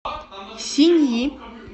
синьи